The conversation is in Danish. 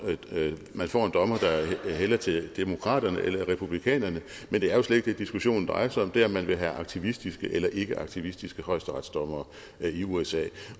man får en dommer der hælder til demokraterne eller en republikanerne men det er jo slet ikke det diskussionen drejer sig om det er om man vil have aktivistiske eller ikkeaktivistiske højesteretsdommere i usa